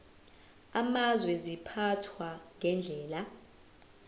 amazwe ziphathwa ngendlela